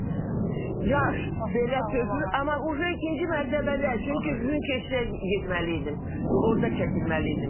Yaş belə tökülür, amma artıq ikinci mərtəbədə, çünki gün keçər getməliydim, orda çəkilməliydim.